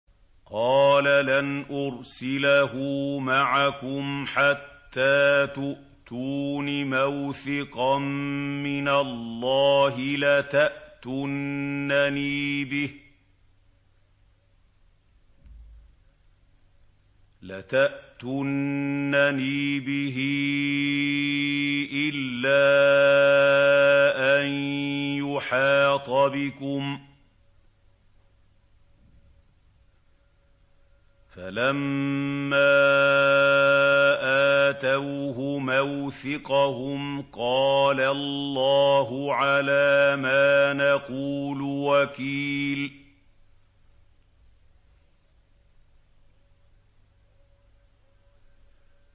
قَالَ لَنْ أُرْسِلَهُ مَعَكُمْ حَتَّىٰ تُؤْتُونِ مَوْثِقًا مِّنَ اللَّهِ لَتَأْتُنَّنِي بِهِ إِلَّا أَن يُحَاطَ بِكُمْ ۖ فَلَمَّا آتَوْهُ مَوْثِقَهُمْ قَالَ اللَّهُ عَلَىٰ مَا نَقُولُ وَكِيلٌ